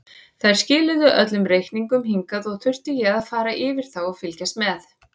Þær skiluðu öllum reikningum hingað og þurfti ég að fara yfir þá og fylgjast með.